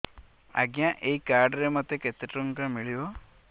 ଆଜ୍ଞା ଏଇ କାର୍ଡ ରେ ମୋତେ କେତେ ଟଙ୍କା ମିଳିବ